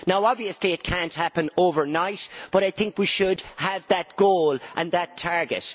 Obviously it cannot happen overnight, but I think we should have that goal and that target.